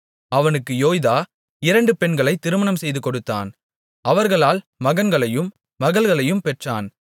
அவனுக்கு யோய்தா இரண்டு பெண்களைத் திருமணம் செய்துகொடுத்தான் அவர்களால் மகன்களையும் மகள்களையும் பெற்றான்